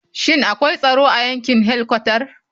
Shin akwai tsaro a yankin helkwatar?